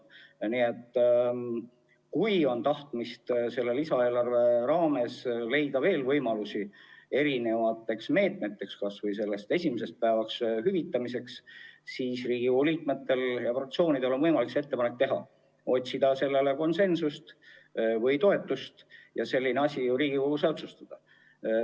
Kui on tahtmist lisaeelarve raames leida veel võimalusi eri meetmeteks, kas või esimese haiguspäeva hüvitamiseks, siis Riigikogu liikmetel ja fraktsioonidel on võimalik see ettepanek teha, otsida sellele toetust ja see asi Riigikogus ära otsustada.